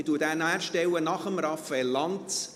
Ich stelle ihn nach Raphael Lanz.